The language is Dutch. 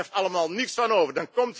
Daar blijft allemaal niets van over.